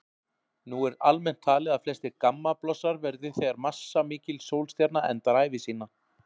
Nú er almennt talið að flestir gammablossar verði þegar massamikil sólstjarna endar ævi sína.